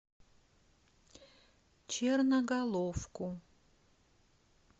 черноголовку